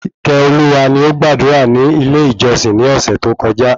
Ikeoluwa ni ọ gbàdúrà ni ilé ìjósìn ni ọ̀sẹ̀ tó kọjá